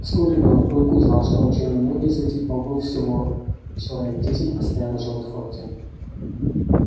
вскоре белый клык узнал что очень немногие из этих богов всего человек десять постоянно живут в форте